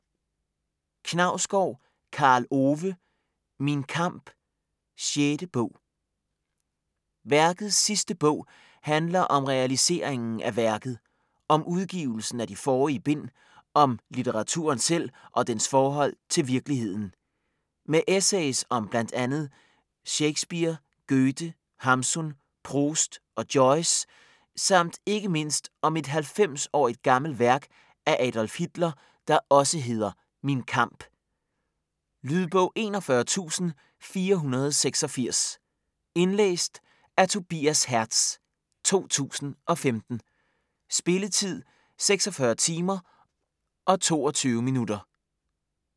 Knausgård, Karl Ove: Min kamp: 6. bog Værkets sidste bog handler om realiseringen af værket: om udgivelsen af de forrige bind, om litteraturen selv og dens forhold til virkeligheden. Med essays om bl.a. Shakespeare, Goethe, Hamsun, Proust og Joyce samt ikke mindst om et 90-årigt gammelt værk af Adolf Hitler, der også hedder "Min kamp". Lydbog 41486 Indlæst af Tobias Hertz, 2015. Spilletid: 46 timer, 22 minutter.